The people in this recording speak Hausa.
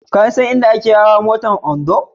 Ka san inda ake hawa motar Ondo?